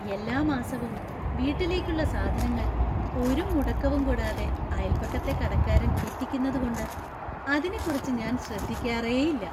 എല്ലാ മാസവും വീട്ടിലേക്കുള്ള സാധനങ്ങൾ ഒരു മുടക്കവും കൂടാതെ അയൽപക്കത്തെ കടക്കാരൻ എത്തിക്കുന്നതുകൊണ്ട് അതിനെക്കുറിച്ച് ഞാൻ ശ്രദ്ധിക്കാറേ ഇല്ല.